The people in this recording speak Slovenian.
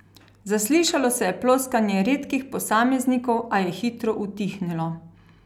Zaslišalo se je ploskanje redkih posameznikov, a je hitro utihnilo.